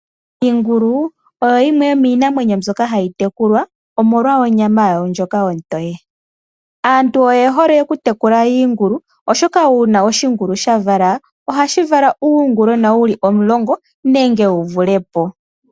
Iingulu oyo yimwe yomiinamwenyo mbyoka hayi tekulwa omolwa onyama yawo ndjoka ontoye. Aantu oye hole okutekula iingulu, oshoka uuna oshingulu sha vala ohashi vala uungulwena wu li omulongo nenge wu vule po.